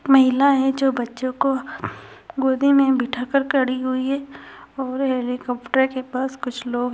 महिला है जो बच्चो को गोदी में उठा कर खड़ी हुई है और हेलिकोप्टर के पास कुछ लोग --